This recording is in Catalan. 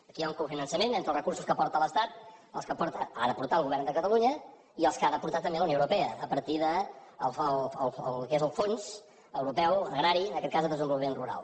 aquí hi ha un cofinançament entre els recursos que aporta l’estat els que ha aportar el govern de catalunya i els que ha d’aportar també la unió europea a partir del que és el fons europeu agrari en aquest cas de desenvolupament rural